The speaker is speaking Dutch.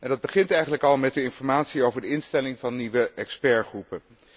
Dat begint eigenlijk al met de informatie over de instelling van nieuwe deskundigengroepen.